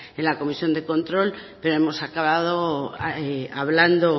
en la comisión de control pero hemos acabado hablando